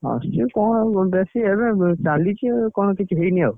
ମାସକୁ କଣ ଏବେ ଚାଲିଛି କଣ ଏବେ କିଛି ହେଇନି ଆଉ।